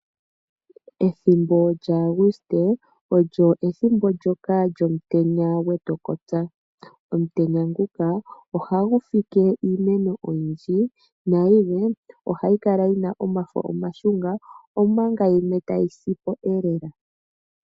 Ethimbo lyaAguste olyo ethimbo ndyoka lyomutenya gwetu gwe tukotsa. Omutenya nguka ohagu fike iimeno oyindji nayilwe ohayi kala yina omafo omashunga omanga yimwe tayi si po lela.